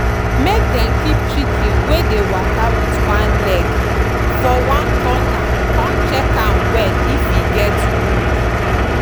make dem keep chicken wey dey waka wit one leg for one corner con check am well if e get wound.